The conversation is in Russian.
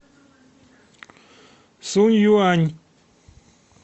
сунъюань